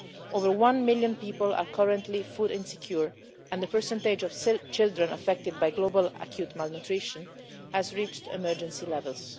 More than one million people are currently food insecure and the percentage of children affected by global acute malnutrition has reached emergency levels.